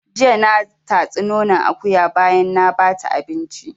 Jiya na tatsi nonon akuya bayan na bata abinci